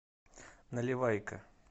наливайко